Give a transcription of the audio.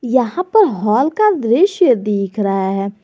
यहां पर हॉल का दृश्य दिख रहा है।